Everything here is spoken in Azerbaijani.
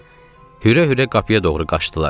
Hürə-hürə qapıya doğru qaçdılar.